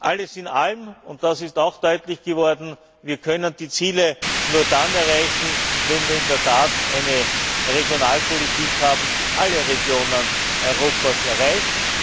Alles in allem, und das ist auch deutlich geworden Wir können die Ziele nur dann erreichen, wenn wir in der Tat eine Regionalpolitik haben, die alle Regionen Europas erreicht.